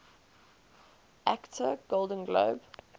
actor golden globe